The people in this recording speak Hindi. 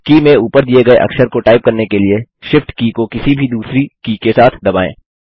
की में ऊपर दिए गये अक्षर को टाइप करने के लिए Shift की को किसी भी दूसरी की के साथ दबाएँ